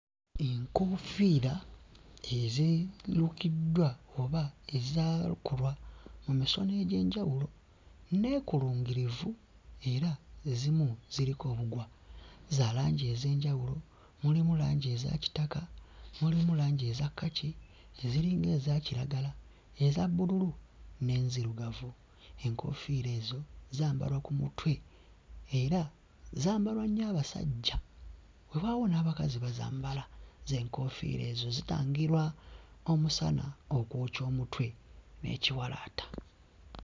Enkoofiira ezirukiddwa oba ezaakolwa mu misono egy'enjawulo nneekulungirivu era ezimu ziriko obugwa, za langi ez'enjawulo mulimu langi eza kitaka, mulimu langi eza kkaki, eziringa eza kiragala, eza bbululu n'enzirugavu. Enkoofiira ezo zambalwa ku mutwe era zambalwa nnyo abasajja, weewaawo n'abakazi bazambala z'enkoofiira ezo zitangira omusana okwokya omutwe n'ekiwalaata.